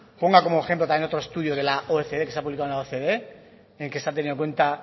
ponga como ejemplo también otro estudio de la ocde que se ha publicado en la ocde en que se ha tenido en cuenta